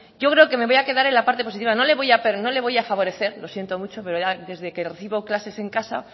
yo creo que me voy a quedar en la parte positiva pero no le voy a favorecer lo siento mucho pero ya desde que recibo clases en casa